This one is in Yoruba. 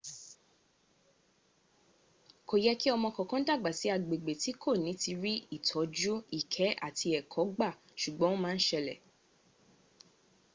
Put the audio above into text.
kò yẹ kí ọmọ kankan dàgbà sí agbẹ̀gbẹ̀ tí kò ní rí ìtọ́jú ìkẹ́ àti ẹ̀kọ gba sùgbọn o má n sẹlẹ̀